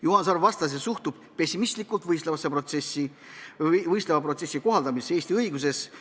Juhan Sarv vastas, et ta suhtub pessimistlikult võistleva protsessi kohaldamisse Eesti õiguses.